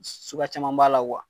Suguya caman b'a la kuwa